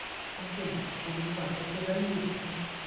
афина чем платят у замбийцев